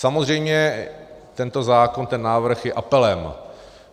Samozřejmě tento zákon, ten návrh, je apelem.